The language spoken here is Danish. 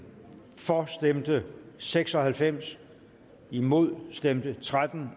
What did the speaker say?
for stemte seks og halvfems imod stemte tretten